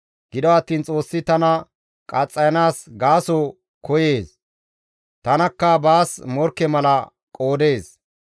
Gido attiin Xoossi tana qaxxayanaas gaaso koyees; tanakka baas morkke mala qoodees.